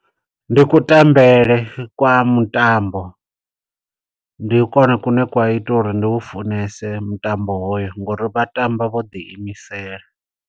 Ndi kutambele kwa mutambo. Ndi kwone kune kwa ita uri ndi u funese mutambo hoyo, ngo uri vha tamba vho ḓi imisela.